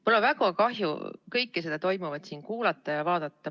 Mul on väga kahju kõike seda toimuvat kuulata ja vaadata.